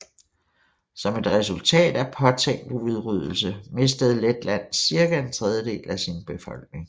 Som et resultat af påtænkt udryddelse mistede Letland cirka en tredjedel af sin befolkning